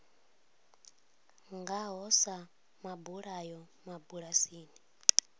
nga ho sa mabulayo mabulasini